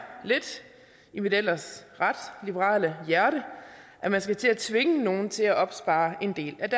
lidt i mit ellers ret liberale hjerte at man skal til at tvinge nogen til at opspare en del af